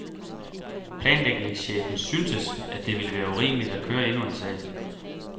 Planlægningschefen syntes, at det ville være urimeligt at køre endnu en sag.